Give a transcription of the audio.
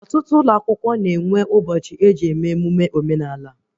Ọtụtụ ụlọ akwụkwọ na-enwe ụbọchị eji eme emụme omenala